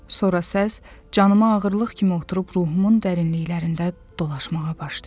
Sonra səs canıma ağırlıq kimi oturub ruhumun dərinliklərində dolaşmağa başlayır.